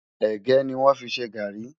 ẹ̀gé ní wón fí ṣé garri